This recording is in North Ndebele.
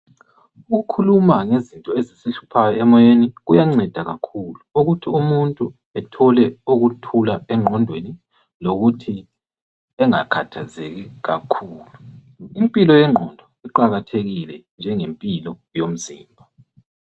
Ukukhuluma ngezinto ezisihluphayo emoyeni kuyanceda kakhulu ukuthi umuntu ethole ukuthula engqondweni lokuthi engakhathazeki kakhulu. Impilo yengqondo iqakathekile njengempilo yomzimba.